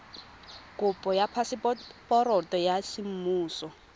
kopo ya phaseporoto ya semmuso